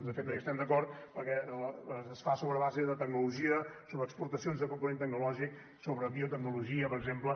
de fet no hi estem d’acord perquè es fa sobre la base de tecnologia sobre exportacions de component tecnològic sobre biotecnologia per exemple